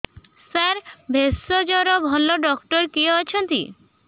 ସାର ଭେଷଜର ଭଲ ଡକ୍ଟର କିଏ ଅଛନ୍ତି